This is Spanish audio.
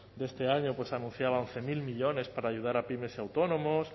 de este año pues anunciaba once mil millónes para ayudar a pymes y autónomos